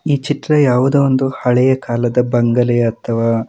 ಈ ಚಿತ್ರ ಯಾವುದೋ ಒಂದು ಹಳೆಯ ಕಾಲದ ಬಂಗಲೆ ಅಥವಾ --